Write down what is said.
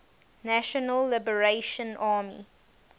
national liberation army